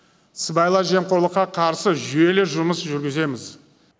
сыбайлас жемқорлыққа қарсы жүйелі жұмыс жүргіземіз